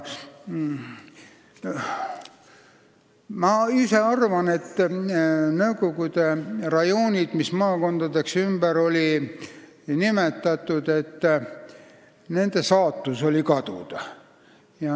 Ma ise arvan, et nende nõukogude rajoonide saatus, mis maakondadeks ümber nimetati, oligi kaduda.